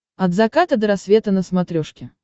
от заката до рассвета на смотрешке